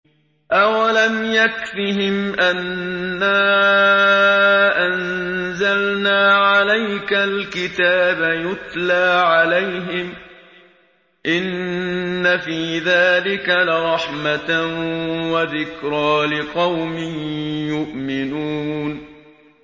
أَوَلَمْ يَكْفِهِمْ أَنَّا أَنزَلْنَا عَلَيْكَ الْكِتَابَ يُتْلَىٰ عَلَيْهِمْ ۚ إِنَّ فِي ذَٰلِكَ لَرَحْمَةً وَذِكْرَىٰ لِقَوْمٍ يُؤْمِنُونَ